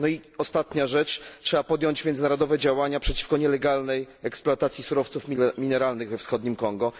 No i ostatnia rzecz trzeba podjąć międzynarodowe działania przeciwko nielegalnej eksploatacji surowców mineralnych we wschodnim Kongo.